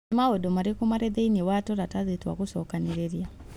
Nĩ maũndũ marĩkũ marĩ thĩinĩ wa tũratathi twa gucokanĩrĩria